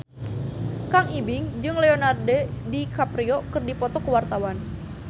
Kang Ibing jeung Leonardo DiCaprio keur dipoto ku wartawan